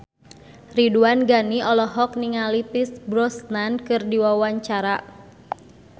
Ridwan Ghani olohok ningali Pierce Brosnan keur diwawancara